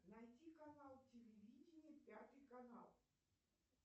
найти канал телевидения пятый канал